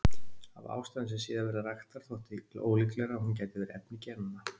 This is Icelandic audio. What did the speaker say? Af ástæðum sem síðar verða raktar þótti ólíklegra að hún gæti verið efni genanna.